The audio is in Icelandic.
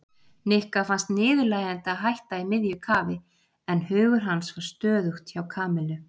Nikka fannst niðurlægjandi að hætta í miðju kafi en hugur hans var stöðugt hjá Kamillu.